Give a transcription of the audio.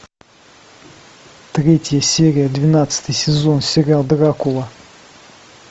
третья серия двенадцатый сезон сериал дракула